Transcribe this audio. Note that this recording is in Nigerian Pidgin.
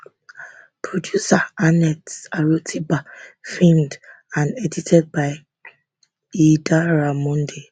producer annette arotiba filmed and edited by idara monday